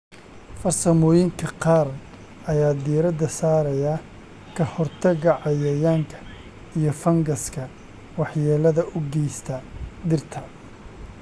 Farsamooyinka qaar ayaa diiradda saaraya ka hortagga cayayaanka iyo fangaska waxyeellada u geysta dhirta.